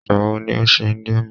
Igbawo ni o ṣe Indomie